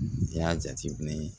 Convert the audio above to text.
N'i y'a jateminɛ